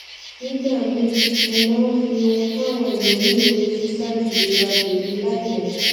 nígbà míì mo máa ń fi ohun táwọn ẹlòmíì ń retí ṣáájú ìlera tèmi láìmò